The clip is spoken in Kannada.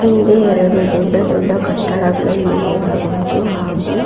ಹಿಂದೆ ಎರಡು ದೊಡ್ಡ ದೊಡ್ಡ ಕಟ್ಟಡಗಳನ್ನು ನೋಡಬಹುದು ಹಾಗು.--